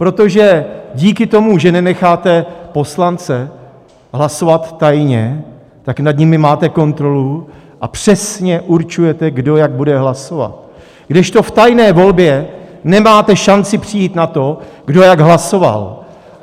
Protože díky tomu, že nenecháte poslance hlasovat tajně, tak nad nimi máte kontrolu a přesně určujete, kdo jak bude hlasovat, kdežto v tajné volbě nemáte šanci přijít na to, kdo jak hlasoval.